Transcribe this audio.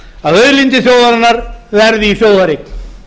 að auðlindir þjóðarinnar verði í þjóðareign